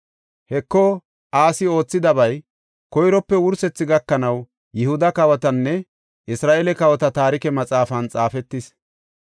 Heko, Asi oothidabay koyrope wursethi gakanaw Yihuda kawotanne Isra7eele kawota taarike maxaafan xaafetis.